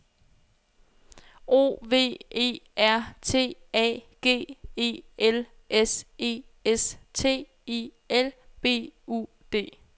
O V E R T A G E L S E S T I L B U D